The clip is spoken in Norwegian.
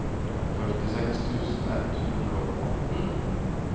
førtiseks tusen ett hundre og atten